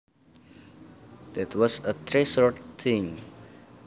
That was a treasured thing